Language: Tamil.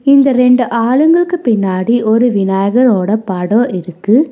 இந்த ரெண்டு ஆளுங்களுக்கு பின்னாடி ஒரு விநாயகரோட படோ இருக்கு.